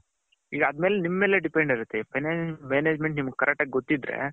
ನಿಮ್ಮ ಮೇಲೆ depend ಇರುತೆ financial management ನಿಮ್ಮಗೆ correct ಆಗಿ ಗೊತ್ತಿದ್ರೆ.